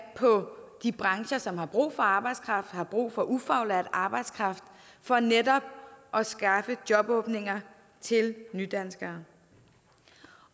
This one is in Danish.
på de brancher som har brug for arbejdskraft har brug for ufaglært arbejdskraft for netop at skaffe jobåbninger til nydanskere